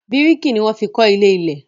Bíríkì ni wọ́n fi kọ́ ilé-ilẹ̀.